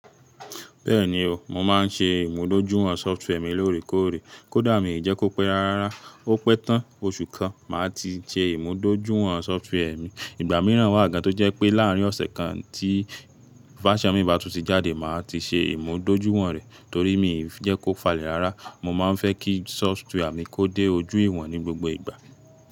Bẹ́ẹ̀ni o, mo máa ń ṣe ìmúdójúìwọ̀n software milóòrèkóòrè. Kódà mi jẹ́ kó pẹ́ rárá, ó pẹ́ tán oṣù kan máa ti ṣe ìmúdójúìwọ̀n software mi. Ìgbà míràn wà gan tó jẹ́ pé láàrín ọ̀sẹ̀ kan tí versíon mi bá tuti jáde máa ti ṣe ìmúdójúìwọ̀n rẹ̀ torí mi jẹ́ kó falẹ̀ rárá. Mo máa ń fẹ́ kí software mi mi kó dé ojú ìwọ̀n ní gbogbo ìgbà.